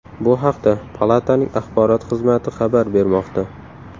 Bu haqda Palataning axborot xizmati xabar bermoqda .